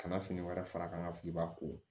Ka na fini wɛrɛ fara ka na f'i b'a ko